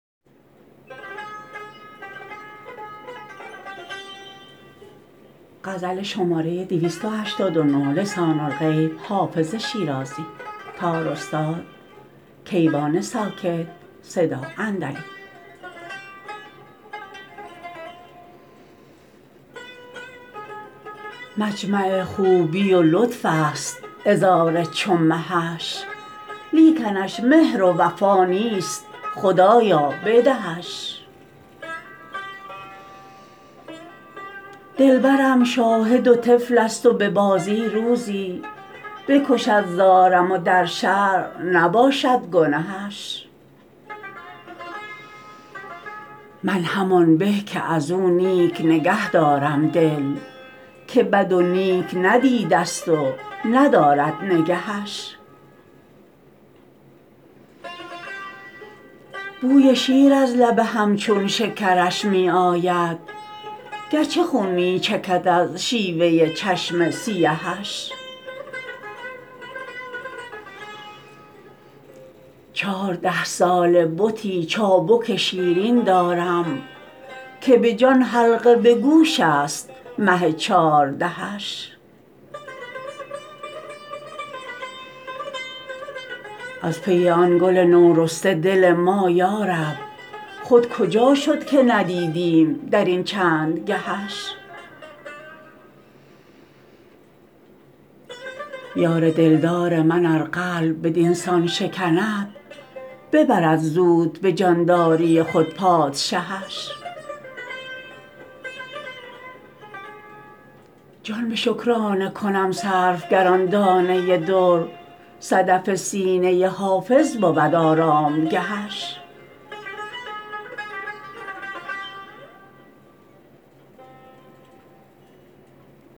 مجمع خوبی و لطف است عذار چو مهش لیکنش مهر و وفا نیست خدایا بدهش دلبرم شاهد و طفل است و به بازی روزی بکشد زارم و در شرع نباشد گنهش من همان به که از او نیک نگه دارم دل که بد و نیک ندیده ست و ندارد نگهش بوی شیر از لب همچون شکرش می آید گرچه خون می چکد از شیوه چشم سیهش چارده ساله بتی چابک شیرین دارم که به جان حلقه به گوش است مه چاردهش از پی آن گل نورسته دل ما یارب خود کجا شد که ندیدیم در این چند گهش یار دلدار من ار قلب بدین سان شکند ببرد زود به جانداری خود پادشهش جان به شکرانه کنم صرف گر آن دانه در صدف سینه حافظ بود آرامگهش